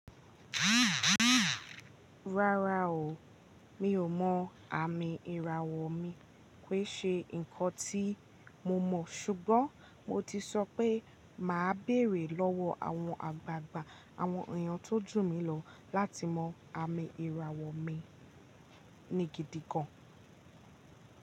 Rárá o, mi ò mọ àmì ìràwọ̀ mi pé ṣe nǹkan tí mo mọ̀, ṣùgbọ́n mo ti sọ pé màá bèrè lọ́wọ́ àwọn àgbàgbà àwọn èèyàn tó jù mí lọ láti mọ àmì ìràwọ̀ mi ni gidi gan.